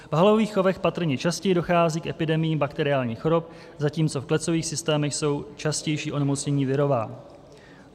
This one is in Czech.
V halových chovech patrně častěji dochází k epidemiím bakteriálních chorob, zatímco v klecových systémech jsou častější onemocnění virová.